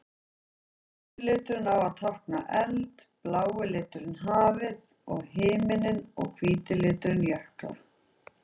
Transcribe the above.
Rauði liturinn á að tákna eld, blái liturinn hafið og himininn og hvíti liturinn jökla.